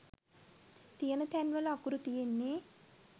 තියන තැන්වල අකුරු තියෙන්නෙ